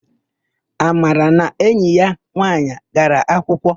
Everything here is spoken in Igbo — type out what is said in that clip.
Amara na enyi ya nwaanyị gara akwụkwọ.